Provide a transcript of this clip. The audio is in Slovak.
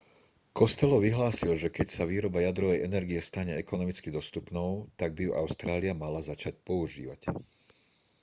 costello vyhlásil že keď sa výroba jadrovej energie stane ekonomicky dostupnou tak by ju austrália mala začať využívať